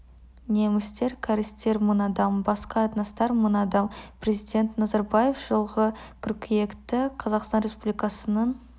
немістер кәрістер мың адам басқа этностар мың адам президент назарбаев жылғы қыркүйекті қазақстан республикасының